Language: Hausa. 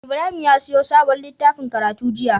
Ibrahim ya siyo sabon litaffin karatu jiya